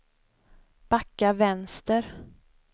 backa vänster